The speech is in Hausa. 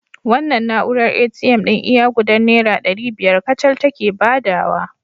Wannan na'urar ATM ɗin iya gudar Naira ɗari biyar kacal take badawa